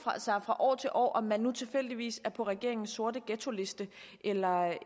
sig fra år til år om man nu tilfældigvis er på regeringens sorte ghettoliste eller ej